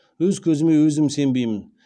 өз көзіме өзім сенбеймін